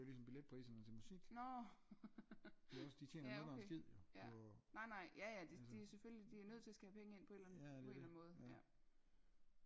Nårh ja okay ja nejnej jaja selvfølgelig de er jo nødt til at skulle have penge ind på en eller anden måde